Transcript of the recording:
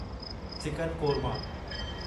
chicken korma